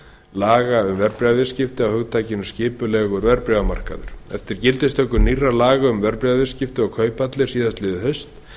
laga um verðbréfaviðskipti á hugtakinu skipulegur verðbréfamarkaður eftir gildistöku nýrra laga um verðbréfaviðskipti og kauphallir síðastliðið haust